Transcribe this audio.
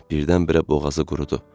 Birdən-birə boğazı qurudu.